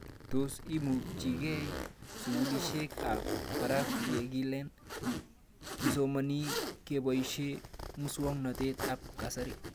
Tos imuchikei sukulishek ab parak ye kilen kisomani kepoishe muswog'natet ab kasari?